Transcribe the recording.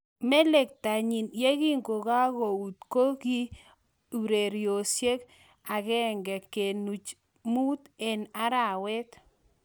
Melektonnyi ye kingokakou ko ki euroisiek 1.5 eng arawet.